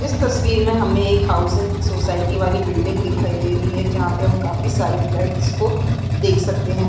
इस तस्वीर में हमे एक हाउसिंग सोसाइटी वाली बिल्डिंग दिखाई दे री है जहा पे हम काफी सारे फ्लैट्स को देख सकते है।